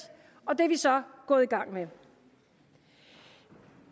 og det er vi så gået i gang med